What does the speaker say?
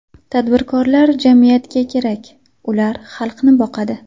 Tadbirkorlar jamiyatga kerak, ular xalqni boqadi.